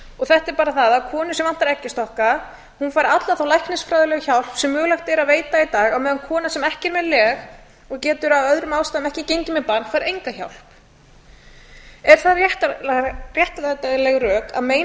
þetta er bara það að konu sem vantar eggjastokka fær alla þá læknisfræðilegu hjálp sem mögulegt er að veita í dag á meðan kona sem ekki er með leg og getur af öðrum ástæðum ekki gengið með barn fær enga hjálp eru það réttlætanleg rök að meina